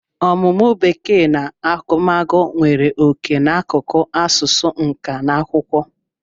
Ọmụmụ Bekee na agụmagụ nwere oke n'akụkụ asụsụ, nka na akwụkwọ.